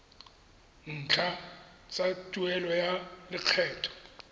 ntlha tsa tuelo ya lekgetho